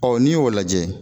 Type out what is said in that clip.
Ɔɔ n'i y'o lajɛ.